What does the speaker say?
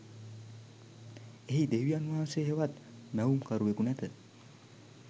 එහි දෙවියන් වහන්සේ හෙවත් මැවුම්කරුවකු නැත